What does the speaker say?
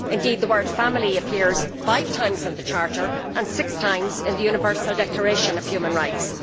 Indeed the word family' appears five times in the Charter and six times in the Universal Declaration of Human Rights.